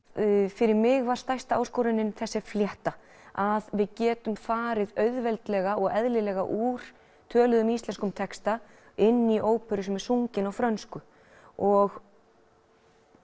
fyrir mig var stærsta áskorunin þessi flétta að við getum farið auðveldlega og eðlilega úr töluðum íslenskum texta inn í óperu sem er sungin á frönsku og